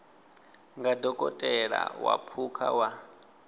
nga dokotela wa phukha wa